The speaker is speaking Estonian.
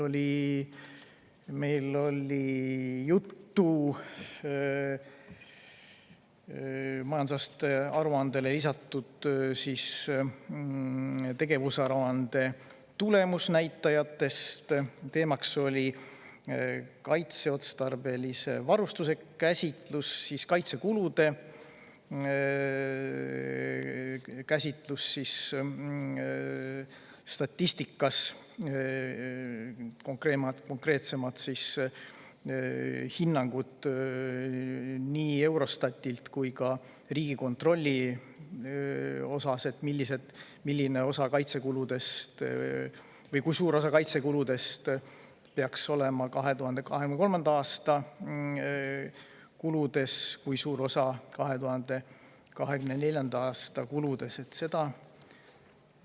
Meil oli juttu majandusaasta aruandele lisatud tegevusaruande tulemusnäitajatest, teemaks olid kaitseotstarbelise varustuse käsitlus ja kaitsekulude käsitlus statistikas, konkreetsemalt hinnangud nii Eurostatilt kui ka Riigikontrollilt, kui suur osa kaitsekuludest peaks olema 2023. aasta kulude seas, kui suur osa 2024. aasta kulude seas.